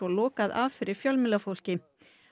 lokað af fyrir fjölmiðlafólki